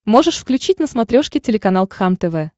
можешь включить на смотрешке телеканал кхлм тв